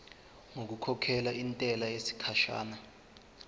ngokukhokhela intela yesikhashana